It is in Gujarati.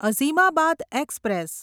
અઝીમાબાદ એક્સપ્રેસ